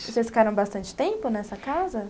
Vocês ficaram bastante tempo nessa casa?